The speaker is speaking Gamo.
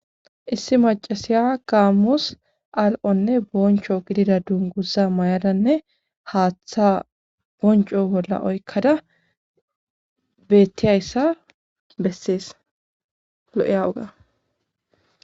issi macasiya gammus al'onne boncho gidida dunguza mayadanne haaththa bonco bolla oykkada bettiyissa bessees lo'eya oga